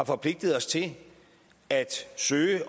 forpligtet os til at søge